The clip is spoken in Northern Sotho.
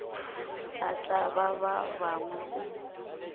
a tlaba ba bangwe o